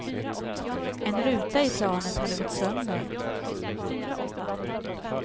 En ruta i planet hade gått sönder.